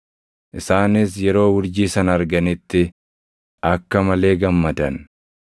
Isaanis yeroo urjii sana arganitti akka malee gammadan.